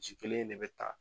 Ci kelen in de bɛ taa